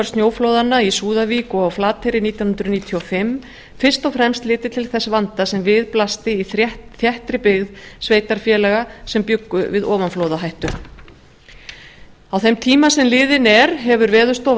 snjóflóðanna í súðavík og á flateyri nítján hundruð níutíu og fimm fyrst og fremst litið til þess vanda sem við blasti í þéttri byggð sveitarfélaga sem bjuggu við ofanflóðahættu á þeim tíma sem liðinn er hefur veðurstofa